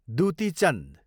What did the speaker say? Dutee Chand